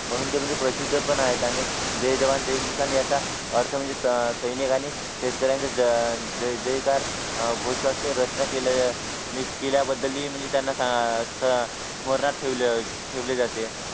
म्हणून ते म्हणजे प्रसिद्ध पण आहेत जय जवान जय किसान यांच्या अर्थ म्हणजे सैनिकांनी शेतकऱ्यांचा जयजयकार अह घोषवाक्य रचना केलेल्या केल्याबद्दल ही म्हणजे त्यांना अह स्मरणात ठेवले जाते